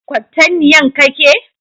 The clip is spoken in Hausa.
Kwatanniyan Ka ke?